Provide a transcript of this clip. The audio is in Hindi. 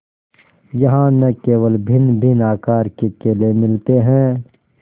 यहाँ न केवल भिन्नभिन्न आकार के केले मिलते हैं